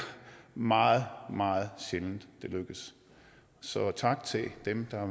meget meget sjældent at det lykkes så tak til dem der har